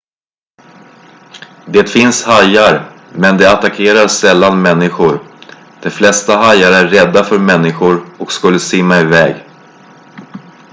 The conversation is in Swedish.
det finns hajar men de attackerar sällan människor de flesta hajar är rädda för människor och skulle simma iväg